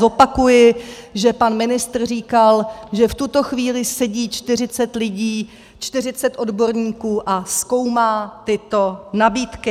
Zopakuji, že pan ministr říkal, že v tuto chvíli sedí 40 lidí, 40 odborníků a zkoumá tyto nabídky.